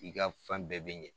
I ka fɛn bɛɛ bɛ ɲɛ.